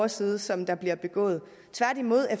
side som der bliver begået tværtimod er